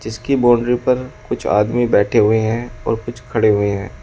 इसकी बाउंड्री पर कुछ आदमी बैठे हुए हैं और कुछ खड़े हुए हैं।